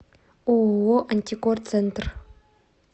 ооо антикор центр